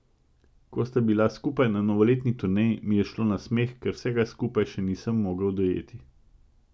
Ko sta bila skupaj na novoletni turneji, mi je šlo na smeh, ker vsega skupaj še nisem mogel dojeti.